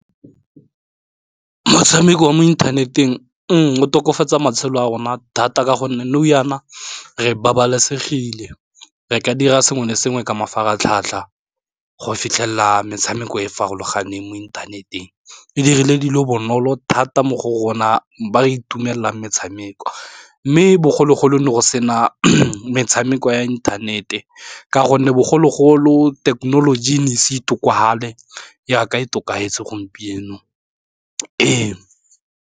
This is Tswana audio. Motshameko wa mo inthaneteng o tokafatsa matshelo a rona thata ka gonne nou jaana re babalesegile, re ka dira sengwe le sengwe ka mafaratlhatlha go fitlhelela metshameko e e farologaneng mo inthaneteng, e dirile dilo bonolo thata mo go rona ba re itumelela metshameko. Mme bogologolo go ne go sena metshameko ya inthanete ka gonne bogologolo thekenoloji e ne e se itlhokofale yaka e tokafetse gompieno ee.